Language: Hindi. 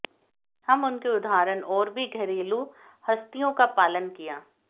हम उनके उदाहरण और भी घरेलू हस्तियों का पालन किया